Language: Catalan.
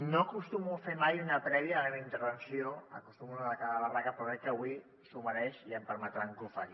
no acostumo a fer mai una prèvia a la meva intervenció acostumo a anar de cara a barraca però crec que avui s’ho mereix i em permetran que ho faci